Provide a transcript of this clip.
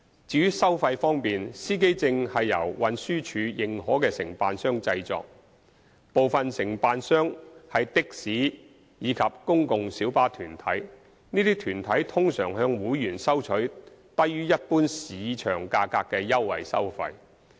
至於收費方面，司機證是由運輸署認可的承辦商製作。部分承辦商是的士及公共小巴團體，這些團體通常向會員收取低於一般市場價格的優惠收費。